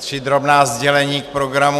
Tři drobná sdělení k programu.